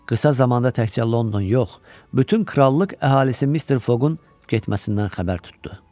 Qısa zamanda təkcə London yox, bütün krallıq əhalisi Mister Fogun getməsindən xəbər tutdu.